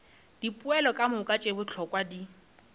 dipoelo kamoka tše bohlokwa di